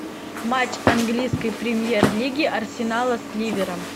матч английской премьер лиги арсенала с ливером